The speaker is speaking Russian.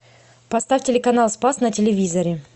поставь телеканал спас на телевизоре